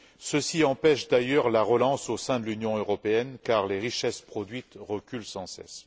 Ceci empêche d'ailleurs la relance au sein de l'Union européenne car les richesses produites reculent sans cesse.